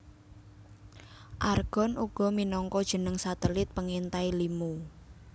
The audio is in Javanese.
Argon uga minangka jeneng satelit pengintai limo